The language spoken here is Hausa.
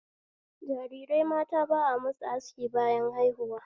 Jarirai mata ba a musu aski bayan haihuwa